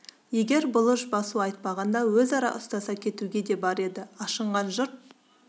егер бұлыш басу айтпағанда өзара ұстаса кетуге де бар еді ашынған жұрт